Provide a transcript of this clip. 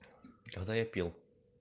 тогда я пил